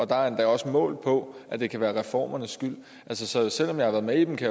der er endda også målt på at det kan være reformernes skyld så selv om jeg har været med i dem kan